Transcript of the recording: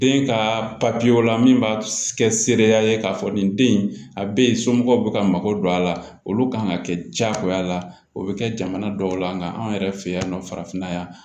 Den ka papiyew la min b'a kɛ seereya ye k'a fɔ nin den in a bɛ yen somɔgɔw bɛ ka mago don a la olu kan ka kɛ jagoya la o bɛ kɛ jamana dɔw la nka anw yɛrɛ fɛ yan nɔ farafinna yan